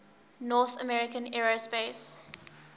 north american aerospace